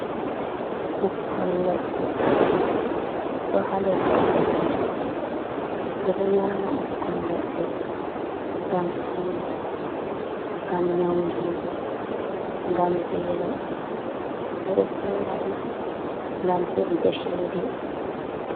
Bukkon ledde do ha leggal majum be do nyama bukkon ledde gam suno, gam nyaundigo, gam velo, be do sora dum gam hebugo chede.